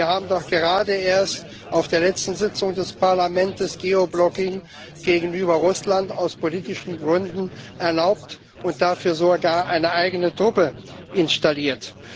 Denn wir haben doch gerade erst auf der letzten Sitzung des Parlaments Geoblocking gegenüber Russland aus politischen Gründen erlaubt und dafür sogar eine eigene Truppe installiert.